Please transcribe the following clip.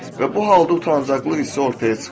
Və bu halda utancaqlıq hissi ortaya çıxır.